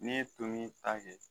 N'i ye tomin ta kɛ